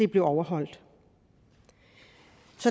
bliver overholdt